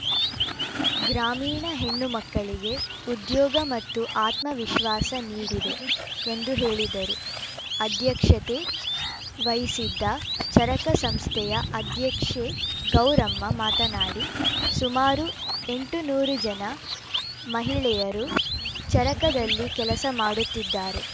ಗ್ರಾಮೀಣ ಹೆಣ್ಣುಮಕ್ಕಳಿಗೆ ಉದ್ಯೋಗ ಮತ್ತು ಆತ್ಮವಿಶ್ವಾಸ ನೀಡಿದೆ ಎಂದು ಹೇಳಿದರು ಅಧ್ಯಕ್ಷತೆ ವಹಿಸಿದ್ದ ಚರಕ ಸಂಸ್ಥೆಯ ಅಧ್ಯಕ್ಷೆ ಗೌರಮ್ಮ ಮಾತನಾಡಿ ಸುಮಾರು ಎಂಟುನೂರು ಜನ ಮಹಿಳೆಯರು ಚರಕದಲ್ಲಿ ಕೆಲಸ ಮಾಡುತ್ತಿದ್ದಾರೆ